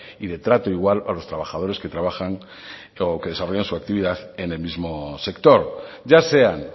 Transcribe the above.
y de trato igual a los trabajadores que trabajan o que desarrollan su actividad en el mismo sector ya sean